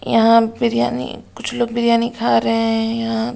यहाँ बिरयानी कुछ लोग बिरयानी खा रहे हैं यहाँ बाहर --